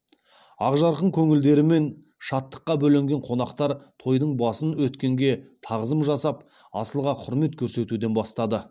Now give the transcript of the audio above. ақ жарқын көңілдерімен шаттыққа бөленген қонақтар тойдың басын өткенге тағзым жасап асылға құрмет көрсетуден бастады